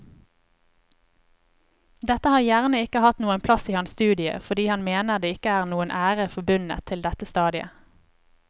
Dette har gjerne ikke hatt noen plass i hans studie fordi han mener det ikke er noen ære forbundet til dette stadiet.